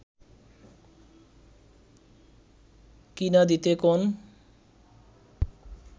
কিইনা দিতে কন